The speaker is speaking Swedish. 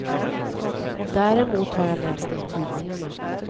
Däremot har jag läst det i tidningarna.